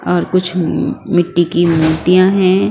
और कुछ मिट्टी की मूर्तियाँ हैं।